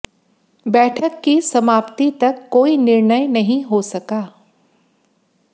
बैठक की समाप्ति तक कोई निर्णय नहीं हो सका